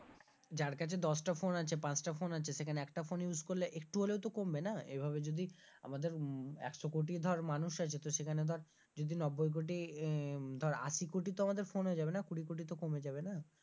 যার কাছে দশ টা phone আছে পাঁচটা phone আছে সেখানে একটা phone use করলে একটু হলেও তো কমবে না, এভাবে যদি আমাদের একশো কোটি ধর মানুষ আছে তো সেখানে ধর যদি নব্বই কোটি ধর আশি কোটি তো আমাদের phone হয়ে যাবে না কুরি কোটি তো কমে যাবে না?